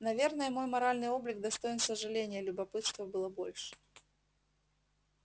наверное мой моральный облик достоин сожаления любопытства было больше